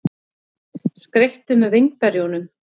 Skreyttu með vínberjunum.